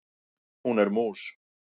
Hún er mús.